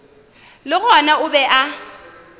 le gona o be a